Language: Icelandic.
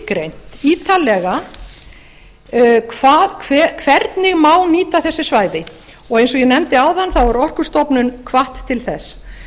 skilgreint ítarlega hvernig má nýta þessi svæði og eins og ég nefndi áðan er orkustofnun hvött til þess